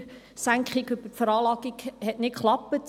Die Steuersenkung über die Veranlagung hat nicht geklappt.